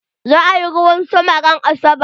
Za a yi ruwan sama ran asabar.